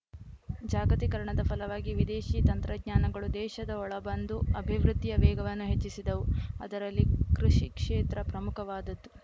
ಜಾಗತೀಕರಣದ ಫಲವಾಗಿ ವಿದೇಶಿ ತಂತ್ರಜ್ಞಾನಗಳು ದೇಶದ ಒಳ ಬಂದು ಅಭಿವೃದ್ಧಿಯ ವೇಗವನ್ನು ಹೆಚ್ಚಿಸಿದವು ಅದರಲ್ಲಿ ಕೃಷಿ ಕ್ಷೇತ್ರ ಪ್ರಮುಖವಾದದ್ದು